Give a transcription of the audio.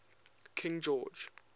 king george